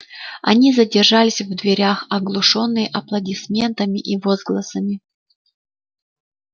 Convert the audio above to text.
они задержались в дверях оглушённые аплодисментами и возгласами